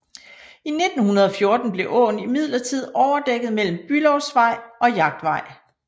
I 1914 blev åen imidlertid overdækket mellem Bülowsvej og Jagtvej